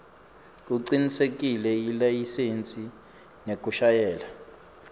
kucinisekisa ilayisensi yekushayela